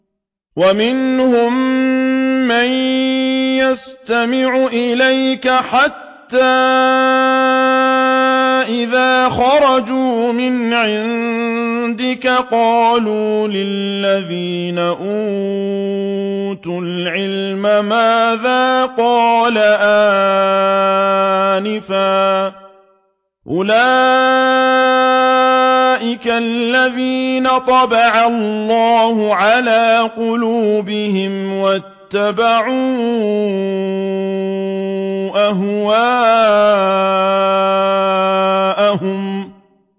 وَمِنْهُم مَّن يَسْتَمِعُ إِلَيْكَ حَتَّىٰ إِذَا خَرَجُوا مِنْ عِندِكَ قَالُوا لِلَّذِينَ أُوتُوا الْعِلْمَ مَاذَا قَالَ آنِفًا ۚ أُولَٰئِكَ الَّذِينَ طَبَعَ اللَّهُ عَلَىٰ قُلُوبِهِمْ وَاتَّبَعُوا أَهْوَاءَهُمْ